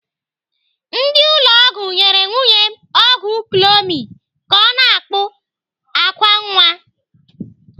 Ndị ụlọ ọgwụ nyere nwunye m ọgwụ clomid ka ọ na-akpụ àkwá nwa.